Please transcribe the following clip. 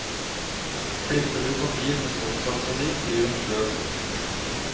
Klipper du papir med stoffsaksa di, blir den sløv.